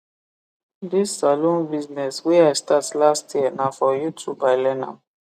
this saloon business wey i start last year na for youtub i learn am